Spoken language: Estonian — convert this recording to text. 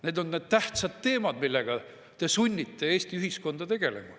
Need on need tähtsad teemad, millega te sunnite Eesti ühiskonda tegelema.